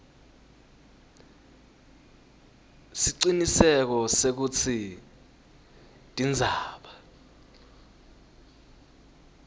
siciniseko sekutsi tindzaba